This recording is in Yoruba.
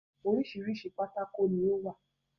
orísirísi pátákó ni ó wà.